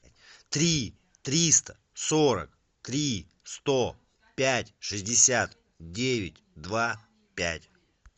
три триста сорок три сто пять шестьдесят девять два пять